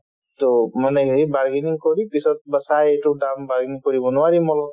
to মানে হেৰি bargaining কৰি পিছত বা চাই এইটো দাম bargaining কৰিব নোৱাৰি mall ত